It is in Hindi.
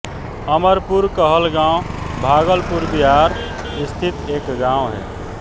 अमरपुर कहलगाँव भागलपुर बिहार स्थित एक गाँव है